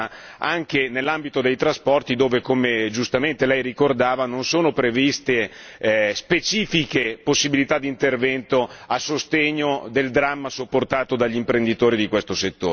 anche nell'ambito dei trasporti dove, come giustamente lei ricordava, non sono previste specifiche possibilità di intervento a sostegno del dramma sopportato dagli imprenditori di questo settore.